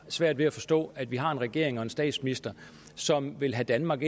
svært ved at forstå at vi har en regering og en statsminister som vil have danmark